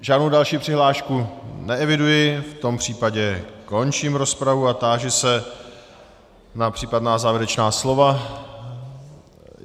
Žádnou další přihlášku neeviduji, v tom případě končím rozpravu a táži se na případná závěrečná slova.